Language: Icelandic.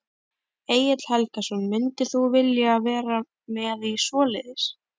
Egill Helgason: Myndir þú vilja vera með í svoleiðis?